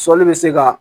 Sɔli bɛ se ka